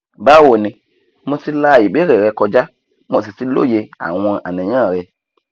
báwo ni mo ti la ìbéèrè rẹ kọjá mo sì ti lóye àwọn àníyàn rẹ